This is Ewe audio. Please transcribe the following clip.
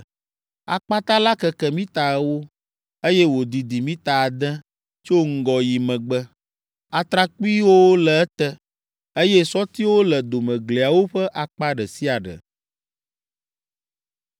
Akpata la keke mita ewo, eye wòdidi mita ade tso ŋgɔ yi megbe. Atrakpuiwo le ete, eye sɔtiwo le domegliawo ƒe akpa ɖe sia ɖe.